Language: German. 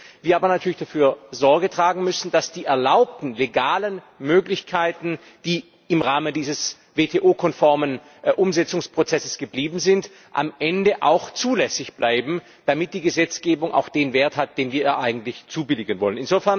Wir müssen dafür Sorge tragen, dass die erlaubten legalen Möglichkeiten, die im Rahmen dieses WTO konformen Umsetzungsprozesses geblieben sind, am Ende auch zulässig bleiben, damit die Gesetzgebung den Wert hat, den wir ihr eigentlich zubilligen wollen.